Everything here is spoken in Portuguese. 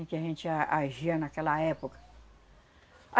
E que a gente a agia naquela época.